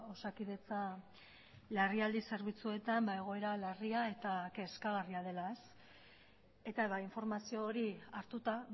osakidetza larrialdi zerbitzuetan egoera larria eta kezkagarria dela eta informazio hori hartuta